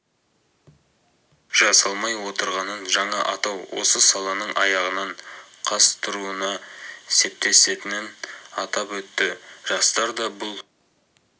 жасалмай отырғанын жаңа атау осы саланың аяғынан қаз тұруына септесетінін атап өтті жастар да бұл